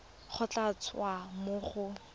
go tla tswa mo go